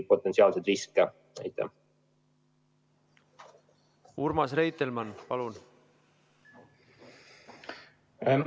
Urmas Reitelmann, palun!